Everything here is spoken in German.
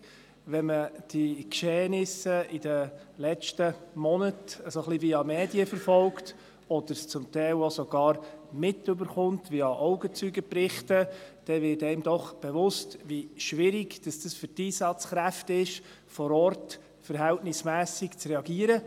Wenn man die Geschehnisse der letzten Monate via Medien ein wenig verfolgt, oder es zum Teil auch via Augenzeugenberichte mitkriegt, dann wird einem doch bewusst, wie schwierig es für die Einsatzkräfte ist, vor Ort verhältnismässig zu reagieren.